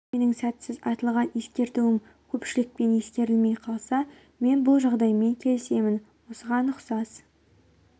сенімді емеспін егер менің сәтсіз айтылған ескертуім көпшілікпен ескерілмей қалса мен бұл жағдаймен келісемін осыған ұқсас